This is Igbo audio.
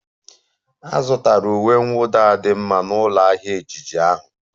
A zụtara uwe mwụda a dị mma na ụlọ ahịa ejiji ahụ